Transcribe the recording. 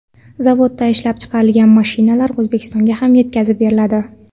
Zavodda ishlab chiqarilgan mashinalar O‘zbekistonga ham yetkazib beriladi.